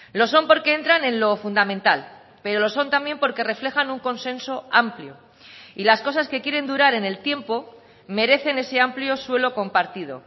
lo son porque entran en lo fundamental pero lo son también porque reflejan un consenso amplio y las cosas que quieren durar en el tiempo merecen ese amplio suelo compartido